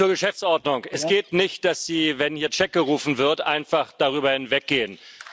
Zur Geschäftsordnung. Es geht nicht, dass Sie, wenn hier gerufen wird, einfach darüber hinweggehen.